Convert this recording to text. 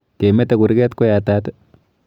Kemete kurget ko yatat?